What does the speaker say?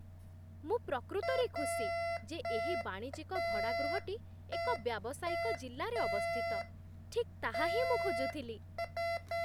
ମୁଁ ପ୍ରକୃତରେ ଖୁସି ଯେ ଏହି ବାଣିଜ୍ୟିକ ଭଡ଼ାଗୃହଟି ଏକ ବ୍ୟାବସାୟିକ ଜିଲ୍ଲାରେ ଅବସ୍ଥିତ। ଠିକ୍ ତାହା ହିଁ ମୁଁ ଖୋଜୁଥିଲି।